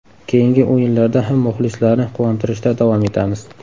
Keyingi o‘yinlarda ham muxlislarni quvontirishda davom etamiz.